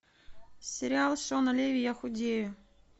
сериал шона леви я худею